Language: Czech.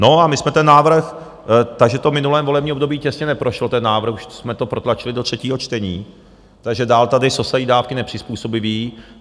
No, a my jsme ten návrh... takže to v minulém volební období těsně neprošlo, ten návrh, už jsme to protlačili do třetího čtení, takže dál tady sosají dávky nepřizpůsobiví.